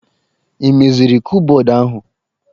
Ị meziri kụpbọdụ ahụ!